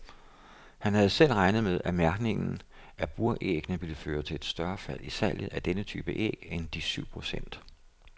Han havde selv regnet med, at mærkningen af buræggene ville føre til et større fald i salget af denne type æg end de syv procent.